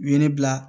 U ye ne bila